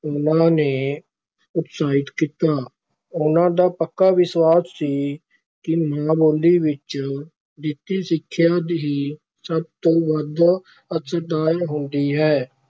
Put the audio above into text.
ਉਹਨਾਂ ਨੇ ਉਤਸਾਹਿਤ ਕੀਤਾ, ਉਹਨਾਂ ਦਾ ਪੱਕਾ ਵਿਸ਼ਵਾਸ ਸੀ ਕਿ ਮਾਂ-ਬੋਲੀ ਵਿਚ ਦਿੱਤੀ ਸਿੱਖਿਆ ਹੀ ਸਭ ਤੋਂ ਵੱਧ ਅਸਰਦਾਰ ਹੁੰਦੀ ਹੈ।